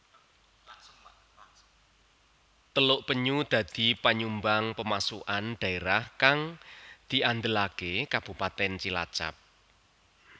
Teluk Penyu dadi panyumbang pemasukan dhaérah kang diandelaké Kabupatèn Cilacap